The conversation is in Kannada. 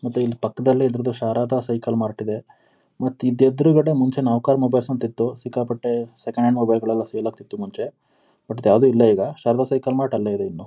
ಮತ್ತೆ ಇಲ್ಲಿ ಪಕ್ಕದಲ್ಲೇ ಎದುರಿಗೆ ಶಾರದಾ ಸೈಕಲ್ ಮಾರ್ಟ್ ಇದೆ. ಮತ್ತೆ ಇದ್ರ ಎದುರುಗಡೆ ಮುಂಚೆ ನೌಕರ್ ಮೊಬೈಲ್ಸ್ ಅಂತ ಇತ್ತು. ಸಿಕ್ಕಾಪಟ್ಟೆ ಸೆಕೆಂಡ್ ಹ್ಯಾಂಡ್ ಮೊಬೈಲ್ಸ್ ಗಳೆಲ್ಲ ಸೇಲ್ ಆಗ್ತಿತ್ತು ಮುಂಚೆ. ಬಟ್ ಇದು ಯಾವುದು ಇಲ್ಲ ಈಗ. ಶಾರದಾ ಸೈಕಲ್ ಮಾರ್ಟ್ ಅಲ್ಲೇ ಇದೆ.